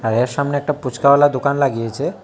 এর সামনে একটা ফুচকাওয়ালা দোকান লাগিয়েছে।